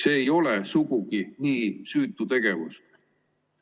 See ei ole sugugi nii süütu tegevus.